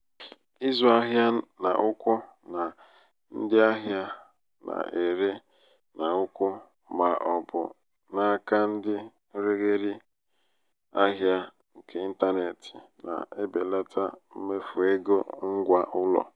ịzụ ahịa n'ùkwù na ndị ahịa na-ere n'ùkwù ma ọ bụ n'aka ndị nregharị ahịa nke ịntanetị na-ebelata mmefu égo ngwa ụlọ.